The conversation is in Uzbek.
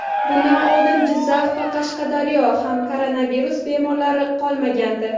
Bundan oldin Jizzax va Qashqadaryoda ham koronavirus bemorlari qolmagandi.